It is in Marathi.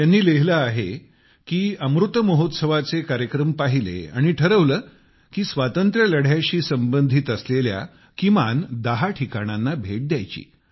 त्यांनी लिहिले आहे की त्यांनी अमृत महोत्सवा चे कार्यक्रम पाहिले आणि ठरवले की स्वातंत्र्यलढ्याशी संबंधित असलेल्या किमान दहा ठिकाणांना भेट द्यायची